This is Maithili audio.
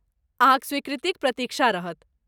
अहाँक स्वीकृतिक प्रतीक्षा रहत।